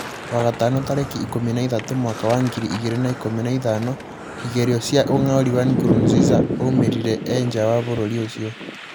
Wagatano tarĩkĩ ikũmi na ithatũ mwaka wa ngiri igĩrĩ na ikũmi na ithano, igerio ria ũg'aũri wa Nkurunziza waumirire ee njaa wa bũrũri ucio